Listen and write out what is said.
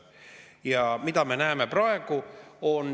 Ja mida me näeme praegu?